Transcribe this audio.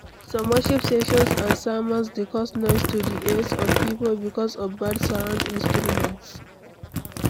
Some worship sessions and sermons de cause noise to the ears of pipo because of bad sound instruments